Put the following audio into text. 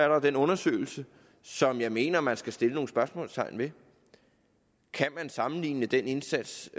jo den undersøgelse som jeg mener man skal sætte nogle spørgsmålstegn ved kan man sammenligne den indsats